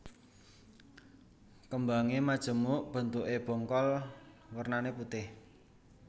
Kembange majemuk bentukke bongkol wernane putih